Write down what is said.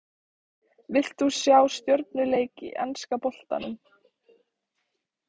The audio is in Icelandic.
Vilt þú sjá stjörnuleik í enska boltanum?